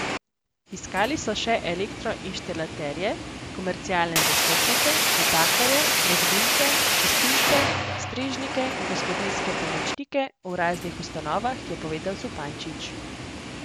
Iskali so še elektroinštalaterje, komercialne zastopnike, natakarje, gradbince, čistilce, strežnike in gospodinjske pomočnike v raznih ustanovah, je povedal Zupančič.